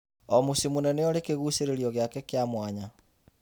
O mũciĩ mũnene ũrĩ kĩgucĩrĩrio gĩake kĩa mwanya.